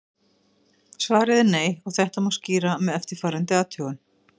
Svarið er nei og þetta má skýra með eftirfarandi athugun.